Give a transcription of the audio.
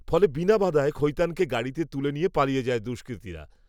ফলে, বিনা বাধায় খৈতানকে গাড়িতে তুলে নিয়ে পালিয়ে যায় দুষ্কৃতীরা